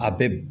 A bɛɛ b